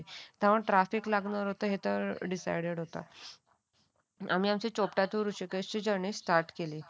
आम्ही असं Chopta to Rishikesh journey start केली